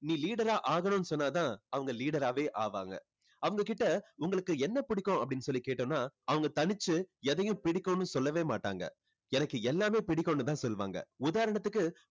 நீ leader ஆ ஆகணும்னு சொன்னா தான் அவங்க leader ஆவே ஆவாங்க. அவங்க கிட்ட உங்களுக்கு என்ன பிடிக்கும் அப்படின்னு சொல்லி கேட்டோம்னா அவங்க தனிச்சு எதையும் பிடிக்கும்னு சொல்லவே மாட்டாங்க. எனக்கு எல்லாமே பிடிக்கும்னு தான் சொல்வாங்க. உதாரணத்துக்கு